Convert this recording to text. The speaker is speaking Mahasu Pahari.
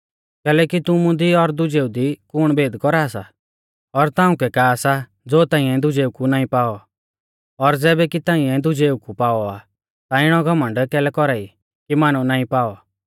कैलैकि तुमु दी और दुजेऊ दी कुण भेद कौरा सा और ताउंकै का सा ज़ो ताइंऐ दुजेऊ कु नाईं पाऔ और ज़ैबै कि ताइंऐ दुजेऊ कु पाऔ आ ता इणौ घमण्ड कैलै कौरा ई कि मानौ नाईं पाऔ